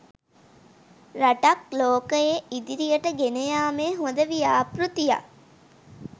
රටක් ලෝකයේ ඉදිරියට ගෙනයාමේ හොද ව්‍යාපෘතියක්